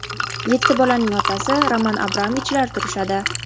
Yetti bolaning otasi Roman Abramovichlar turishadi.